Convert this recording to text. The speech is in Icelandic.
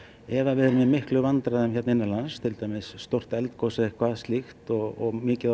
ef við erum í miklum vandræðum hérna innanlands til dæmis stórt eldgos eða eitthvað slíkt og mikið